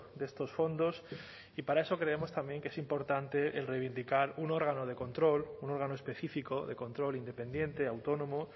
de estos fondos y para eso creemos también que es importante el reivindicar un órgano de control un órgano específico de control independiente autónomo